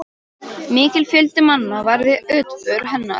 Mikill fjöldi manna var við útför hennar.